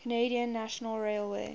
canadian national railway